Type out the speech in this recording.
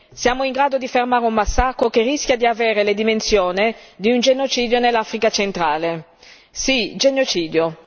Siamo in grado di fermare un massacro che rischia di avere le dimensioni di un genocidio nell'Africa centrale. Sì, genocidio!